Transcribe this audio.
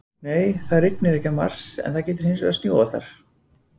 Nei, það rignir ekki á Mars en það getur hins vegar snjóað þar!